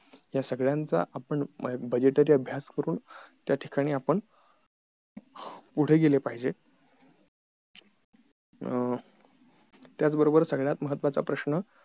या सगळ्यांचा आपण budgetory अभ्यास करून या ठिकाणी आपण पुढं गेले पाहिजेत अं त्याच बरोबर सगळ्यात महत्वाचा प्रश्न